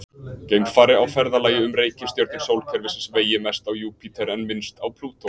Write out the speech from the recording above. Geimfari á ferðalagi um reikistjörnur sólkerfisins vegi mest á Júpíter en minnst á Plútó.